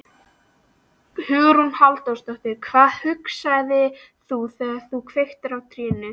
Hugrún Halldórsdóttir: Hvað hugsaðir þú þegar þú kveiktir á trénu?